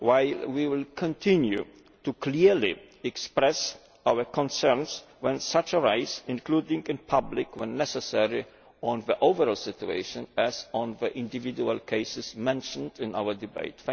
However, we will continue to clearly express our concerns when they arise including in public, when necessary on the overall situation, as well as on the individual cases mentioned in our debate.